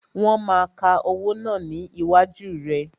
Wọn máa ka owó náà ni iwájú rẹ